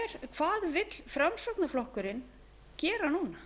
hvað vill framsóknarflokkurinn gera núna